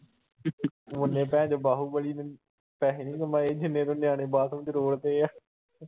ਉਹਨੇ ਬਾਹੁਬਲੀ ਨੇ ਪੈਸੇ ਨੀ ਕਮਾਏ ਜਿੰਨੇ ਨਿਆਣੇ ਤੂੰ ਬਾਥਰੂਮ ਚ ਰੋੜ੍ਹ ਦਿੱਤੇ ਆ।